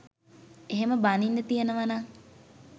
එහෙම බනින්න තියනවානම්